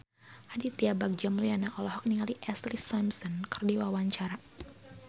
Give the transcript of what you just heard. Aditya Bagja Mulyana olohok ningali Ashlee Simpson keur diwawancara